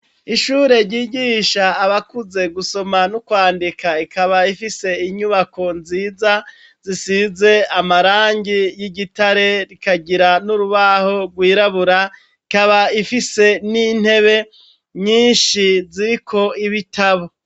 Ishure ryigisha abakuze gusoma nu kwandika, ikaba ifise inyubako nziza zisize amarangi y'igitare rikagira n'urubaho gwirabura, ikaba ifise n'intebe nyinshi ziriko ibitabo.